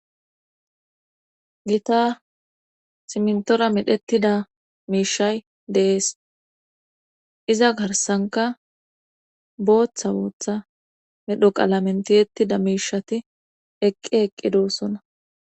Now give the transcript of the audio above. gita simntora medhettida miishay deees iza garsanka booththa booththa medho qala mentiyettida miishati eqqe eqqedoossona